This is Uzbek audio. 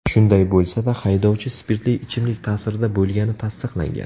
Shunday bo‘lsa-da, haydovchi spirtli ichimlik ta’sirida bo‘lgani tasdiqlangan.